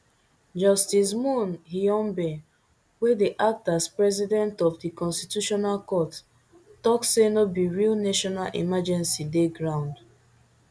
justice moon hyungbae wey dey act as president of di constitutional court tok say no be real national emergency dey ground